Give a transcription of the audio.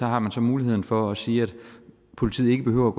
har man så muligheden for at sige at politiet ikke behøver